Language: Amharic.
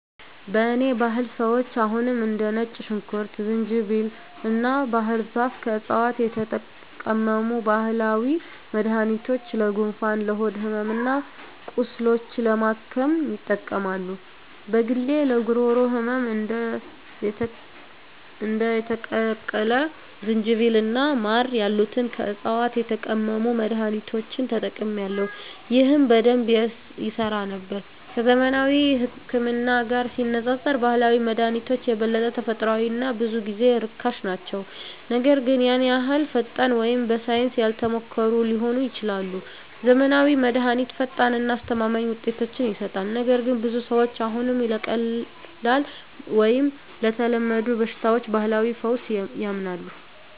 በእኔ ባህል ሰዎች አሁንም እንደ ነጭ ሽንኩርት፣ ዝንጅብል እና ባህር ዛፍ ከዕፅዋት የተቀመሙ ባህላዊ መድኃኒቶችን ለጉንፋን፣ ለሆድ ሕመም እና ቁስሎች ለማከም ይጠቀማሉ። በግሌ ለጉሮሮ ህመም እንደ የተቀቀለ ዝንጅብል እና ማር ያሉትን ከዕፅዋት የተቀመሙ መድኃኒቶችን ተጠቅሜአለሁ፣ ይህም በደንብ ይሠራ ነበር። ከዘመናዊው ህክምና ጋር ሲነፃፀሩ ባህላዊ መድሃኒቶች የበለጠ ተፈጥሯዊ እና ብዙ ጊዜ ርካሽ ናቸው, ነገር ግን ያን ያህል ፈጣን ወይም በሳይንስ ያልተሞከሩ ሊሆኑ ይችላሉ. ዘመናዊው መድሃኒት ፈጣን እና አስተማማኝ ውጤቶችን ይሰጣል, ነገር ግን ብዙ ሰዎች አሁንም ለቀላል ወይም ለተለመዱ በሽታዎች ባህላዊ ፈውስ ያምናሉ.